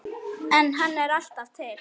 En hann er alltaf til.